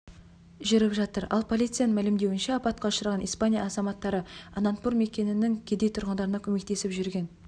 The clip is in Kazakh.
жүріп жатыр ал полицияның мәлімдеуінше апатқа ұшыраған испания азаматтары анантпур мекенінің кедей тұрғындарына көмектесіп жүрген